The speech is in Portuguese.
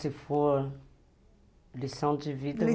Se for lição de vida, eu diria...